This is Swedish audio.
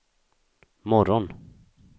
morgon